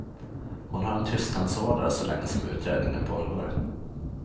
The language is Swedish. Hon har en tystnadsorder så länge som utredningen pågår.